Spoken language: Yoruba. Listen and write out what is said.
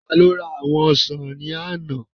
Taló ra àwọn ọsàn ní àná?